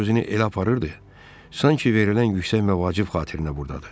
O özünü elə aparırdı, sanki verilən yüksək mövqe vacib xatirinə burdadır.